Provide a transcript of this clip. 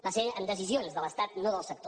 van ser amb decisions de l’estat no del sector